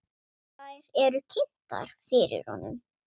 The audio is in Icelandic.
Þær eru kynntar fyrir honum.